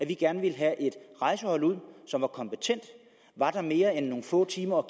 vi gerne vil have et rejsehold ud som er kompetent og er der mere end nogle få timer